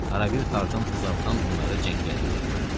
Harabir Tarzan uzaqdan onları cəngəllikdə görürdü.